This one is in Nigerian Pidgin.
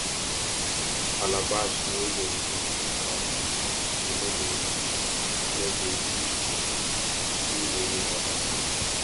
calabash wey dem use keep cowpea seed we no dey used no dey used am do any other thing